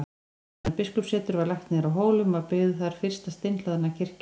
Áður en biskupssetur var lagt niður á Hólum var byggð þar fyrsta steinhlaðna kirkjan.